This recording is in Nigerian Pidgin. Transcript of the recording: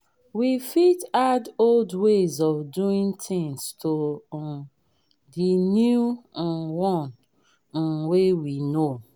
we fit add old ways of doing things to um the new um one um wey we know